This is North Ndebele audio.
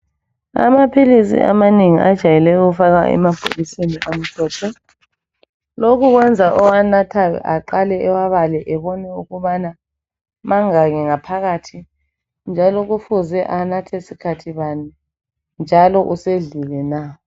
Amaphilisi amanengi ajayele ukufakwa emabhokisini amhlophe. Lokhu kwenza owanathayo aqale emabaleni ebone ukubana mangaki phakathi, njalo kufuze anathe skhathi bani, njalo usedlile na.